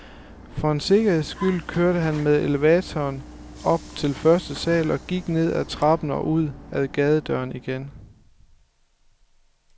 For en sikkerheds skyld kørte han med elevatoren op til første sal og gik ned ad trappen og ud ad gadedøren igen.